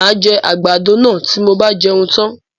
Máa jẹ àgbàdo náà tí mo bá tí jẹun tan.